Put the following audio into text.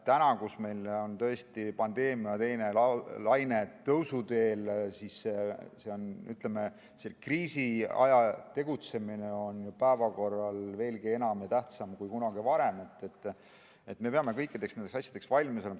Täna, kui pandeemia teine laine on tõusuteel ja kriisiajal tegutsemine on päevakorral veelgi enam ja tähtsam kui kunagi varem, me peame kõikideks nendeks asjadeks valmis olema.